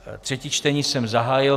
Třetí čtení jsem zahájil.